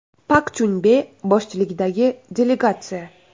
Pak Chunbe boshchiligidagi delegatsiya.